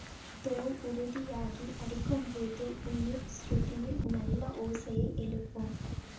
தோல் உறுதியாகி அடிக்கும்போது உயிர் சுருதியில் நல்ல ஓசையை எழுப்பும்